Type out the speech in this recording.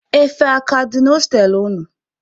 Efe a ka dị na hostelụ unu?